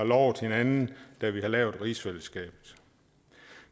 lovede hinanden da vi lavede rigsfællesskabet